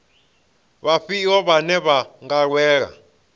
vhafhio vhane vha nga lwela